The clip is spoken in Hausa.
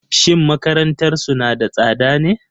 Shin makarantarsu na da tsada ne?